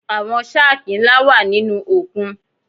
Àwọn shákì ńlá wà nínú òkun.